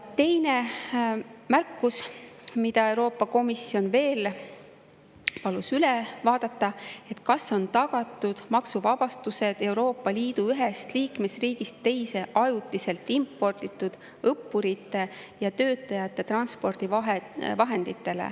Teine märkus: Euroopa Komisjon palus veel üle vaadata, kas on tagatud maksuvabastused õppurite ja töötajate transpordivahenditele, mis on Euroopa Liidu ühest liikmesriigist teise ajutiselt.